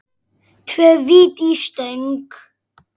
Tvö víti í stöng?